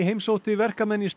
heimsótti verkamenn í